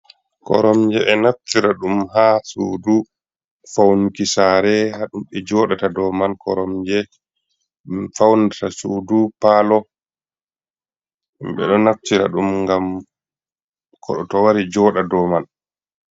Koromje e naftira ɗum ha suudu faunki sare ha ɗube joɗata doi man, koromje funata suidu palo ɓe ɗo naftira ɗum gam koɗo to wari joɗa dou man.